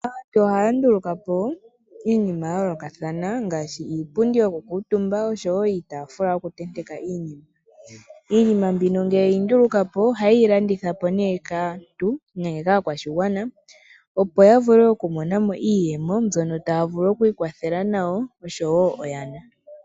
Aantu ohaya nduluka po iinima ya yoolokathana ngaashi iipundi yokukuutumba noshowo iitaafula yokutenteka iinima. Iinima mbino ngele ye yi nduluka po ohaye yi landitha po nduno kaantu nenge kaakwashigwana, opo ya vule okumona mo iiyemo mbyono taya vulu okuikwathela nayo noshowo oyana.